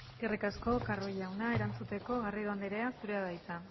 eskerrik asko carro jauna erantzuteko garrido andrea zurea da hitza